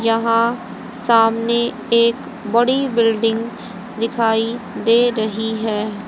यहां सामने एक बड़ी बिल्डिंग दिखाई दे रही है।